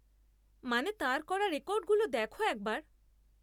মানে তাঁর করা রেকর্ডগুলো দেখো একবার।